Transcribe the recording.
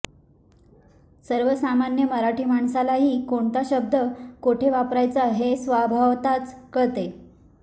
सर्वसामान्य मराठी माणसालाही कोणता शब्द कोठे वापरावयाचा ते स्वभावतःच कळते